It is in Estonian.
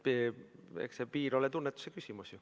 Eks see piir ole tunnetuse küsimus.